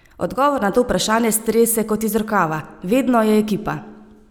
Odgovor na to vprašanje strese kot iz rokava: "Vedno je ekipa.